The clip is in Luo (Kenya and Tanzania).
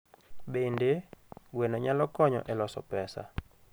Bende, gweno nyalo konyo e loso pesa.